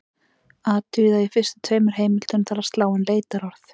Athugið að í fyrstu tveimur heimildunum þarf að slá inn leitarorð.